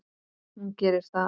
Hún gerir það.